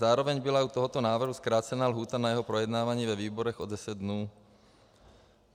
Zároveň byla u tohoto návrhu zkrácena lhůta na jeho projednávání ve výborech o deset dnů.